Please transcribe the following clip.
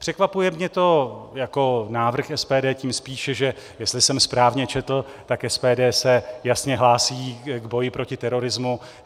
Překvapuje mě to jako návrh SPD tím spíše, že - jestli jsem správně četl - tak SPD se jasně hlásí k boji proti terorismu.